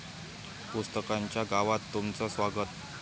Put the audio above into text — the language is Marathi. पुस्तकांच्या गावात तुमचं स्वागत